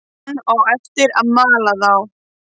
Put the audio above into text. Hann á eftir að mala þá.